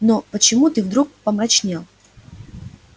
но почему ты вдруг помрачнел